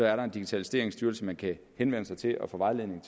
er der en digitaliseringsstyrelse man kan henvende sig til og få vejledning